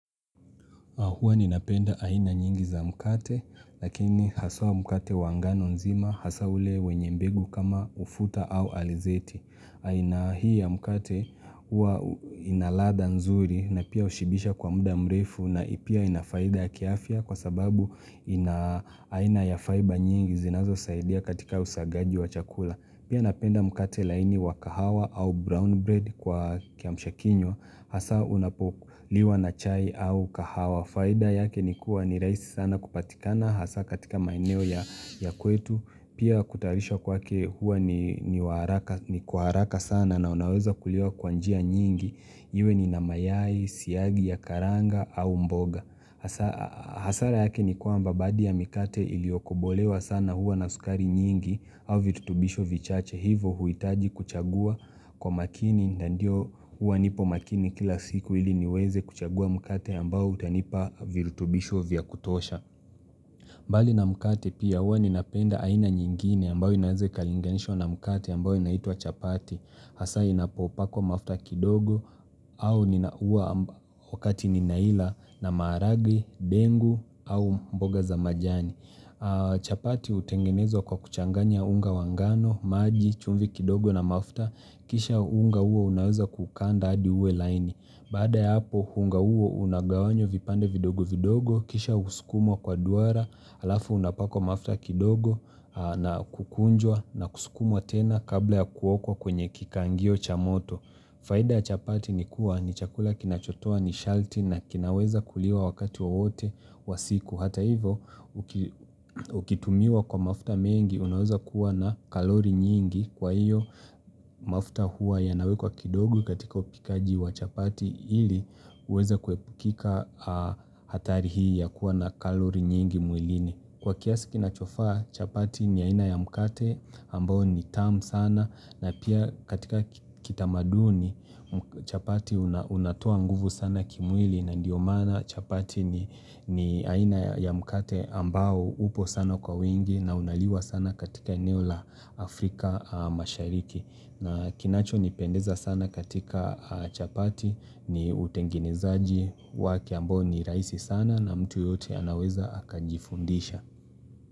Huwa ninapenda aina nyingi za mkate lakini haswa mkate wa ngano nzima hasa ule wenye mbegu kama ufuta au alizeti. Aina hii ya mkate huwa inaladha nzuri na pia hushibisha kwa muda mrefu na pia inafaidha ya kiafya kwa sababu ina aina ya faiba nyingi zinazosaidia katika usagaji wa chakula. Pia napenda mkate laini wa kahawa au brown bread kwa kiamsha kinywa Hasa unapokuliwa na chai au kahawa. Faida yake ni kuwa ni rahisi sana kupatikana hasa katika maeneo ya kwetu. Pia kutayarisha kwake huwa ni wa haraka ni kwa haraka sana na unaweza kuliwa kwa njia nyingi Iwe ni na mayai, siyagi ya karanga au mboga hasara yake ni kwamba baadhi ya mikate iliokubolewa sana huwa na suskari nyingi au virutubisho vichache hivo huitaji kuchagua kwa makini na ndio uwa nipo makini kila siku ili niweze kuchagua mkate ambao utanipa virutubisho vya kutosha. Mbali na mkate pia uwa ninapenda aina nyingine ambao inaweze ikalinganishwa na mkate ambayo inaitwa chapati. Hasa inapopakwa mafuta kidogo au nina uwa wakati ninaila na maragwe, dengu au mboga za majani. Chapati utengenezwa kwa kuchanganya unga wa ngano, maji, chumvi kidogo na mafta Kisha unga uo unaweza kukanda adi uwe laini Bada ya hapo unga uo unagawanywa vipande vidogo vidogo Kisha husukumwa kwa duara, alafu unapakwa mafta kidogo na kukunjwa na kusukumwa tena kabla ya kuokwa kwenye kikangio cha moto faida ya chapati ni kuwa ni chakula kinachotoa nishati na kinaweza kuliwa wakati wowote wa siku. Hata hivo, ukitumiwa kwa mafuta mengi, unaweza kuwa na kalori nyingi kwa hiyo mafuta huwa yanawekwa kidogo katika upikaji wa chapati ili uweza kuwepukika hatari hii ya kuwa na kalori nyingi mwilini. Kwa kiasi kinachofaa, chapati ni aina ya mkate ambao ni tamu sana na pia katika kitamaduni chapati unatoa nguvu sana kimwili na ndiyo maana chapati ni aina ya mkate ambao upo sana kwa wingi na unaliwa sana katika eneo la Afrika mashariki. Na kinacho nipendeza sana katika chapati ni utengenezaji wake ambao ni raisi sana na mtu yeyote anaweza akajifundisha.